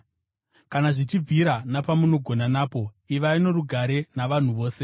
Kana zvichibvira, napamunogona napo, ivai norugare navanhu vose.